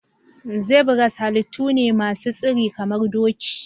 Zebras halittu ne masu tsiri kamar doki.